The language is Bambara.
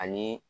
Ani